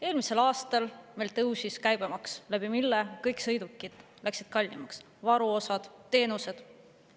Eelmisel aastal tõusis meil käibemaks, mille tõttu kõik sõidukid läksid kallimaks, varuosad ja teenused.